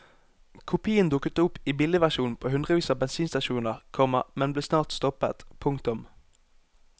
Kopien dukket opp i billigversjon på hundrevis av bensinstasjoner, komma men ble snart stoppet. punktum